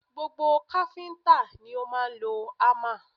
Gbogbo káfíńtà ni ó máa ń lo hámà